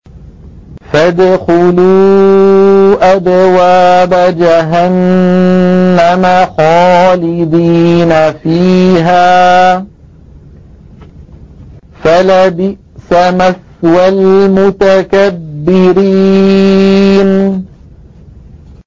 فَادْخُلُوا أَبْوَابَ جَهَنَّمَ خَالِدِينَ فِيهَا ۖ فَلَبِئْسَ مَثْوَى الْمُتَكَبِّرِينَ